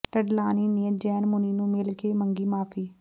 ਡਡਲਾਨੀ ਨੇ ਜੈਨ ਮੁਨੀ ਨੂੰ ਮਿਲ ਕੇ ਮੰਗੀ ਮੁਆਫ਼ੀ